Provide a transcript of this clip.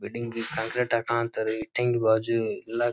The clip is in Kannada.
ಬಿಲ್ಡಿಂಗ್ ಕಾಂಕ್ರೀಟ್ ಹಾಕಾ ಅಂತಾರೆ ಬಾಜು ಎಲ್ಲ --